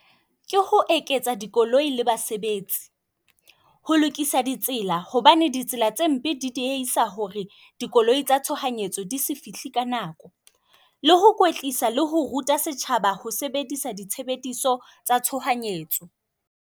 Ke ho eketsa dikoloi la basebetsi. Ho lokisa ditsela. Hobane ditsela tse mpe di dieisa hore dikoloi tsa tshohanyetso di se fihle ka nako. Le ho kwetlisa le ho ruta setjhaba ho sebedisa di tshebediso tsa tshohanyetso.